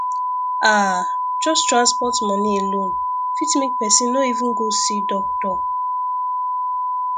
ah just transport money alone fit make person no even go see doctor